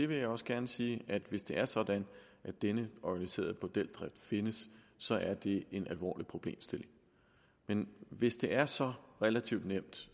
vil også gerne sige at hvis det er sådan at denne organiserede bordeldrift findes så er det en alvorlig problemstilling men hvis det er så relativt nemt